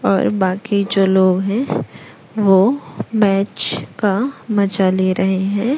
और बाकी जो लोग हैं वो मैच का मजा ले रहे हैं।